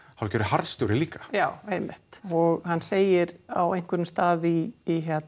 hálfgerður harðstjóri líka já einmitt og hann segir á einhverjum stað í